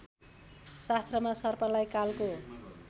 शास्त्रमा सर्पलाई कालको